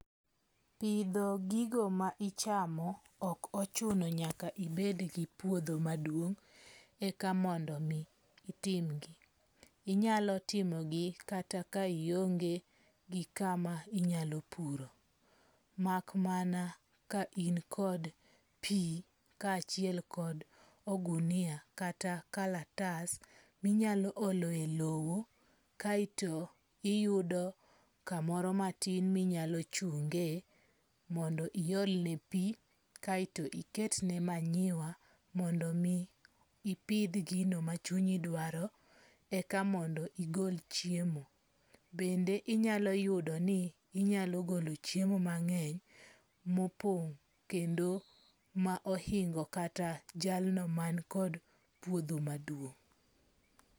Pidho gigo ma ichamo ok ochuno nyaka ibed gi puodho maduong' eka mondo itimgi. Inyalo timogi kata ka ionge gi kama inyalo puro. Mak mana ka in kod pi kaachiel kod ogunia kata kalatas minyalo oloe lowo kaeto iyudo kamoro matin minyalo chunge. Mondo iolne pi kaeto iketne manyiwa, mondo mi ipidh gino ma chunyi dwaro eka mondo igol chiemo. Bende inyalo yudo ni inyalo golo chiemo mang'eny mopong' kendo ma ohingo kata jalno mankod puodho maduong'.